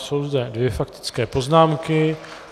Jsou zde dvě faktické poznámky.